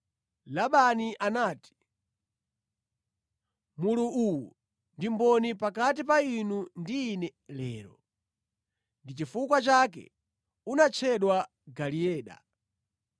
Labani anati, “Mulu uwu ndi mboni pakati pa inu ndi ine lero.” Ndi chifukwa chake unatchedwa Galeeda.